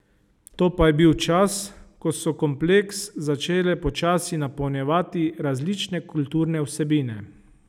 To pa je bil čas, ko so kompleks začele počasi napolnjevati različne kulturne vsebine.